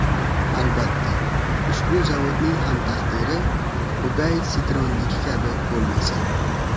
Albatta, ushbu zavodning ham taqdiri Peugeot-Citroen’niki kabi bo‘lmasa .